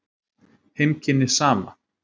Heimkynni Sama.